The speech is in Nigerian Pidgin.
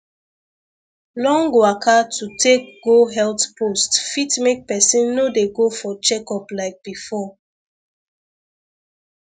long waka to take go health post fit make people no dey go for checkup like before